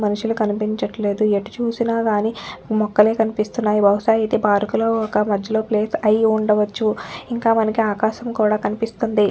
మనుషులు కనిపించట్లేదు ఎట్టుచూసినా కానీ మొక్కలే కనిపిస్తున్నాయిబహుశ ఇది పార్క్ లొ ఒక్క మధ్యలో ప్లేస్ అయ్యుండవచ్చు ఇంకా మనకి ఆకాశం కూడా కనిపిస్తుంది.